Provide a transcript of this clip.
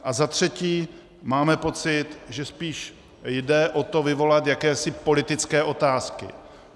A za třetí, máme pocit, že spíš jde o to vyvolat jakési politické otázky.